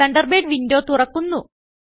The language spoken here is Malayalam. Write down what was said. തണ്ടർബേർഡ് windowതുറക്കുന്നു